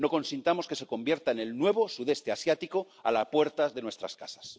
No consintamos que se convierta en el nuevo Sudeste Asiático a la puerta de nuestras casas.